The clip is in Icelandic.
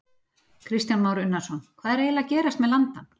Kristján Már Unnarsson: Hvað er eiginlega að gerast með landann?